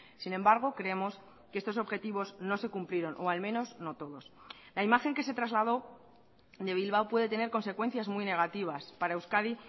sin embargo creemos que estos objetivos no se cumplieron o al menos no todos la imagen que se trasladó de bilbao puede tener consecuencias muy negativas para euskadi